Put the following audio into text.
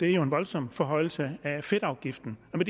er en voldsom forhøjelse af fedtafgiften med